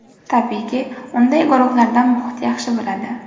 Tabiiyki, unday guruhlarda muhit yaxshi bo‘ladi.